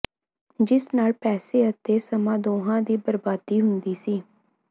ਜਿਸ ਨਾਲ ਪੈਸੇ ਅਤੇ ਸਮਾਂ ਦੋਹਾਂ ਦੀ ਬਰਬਾਦੀ ਹੁੰਦੀ ਸੀ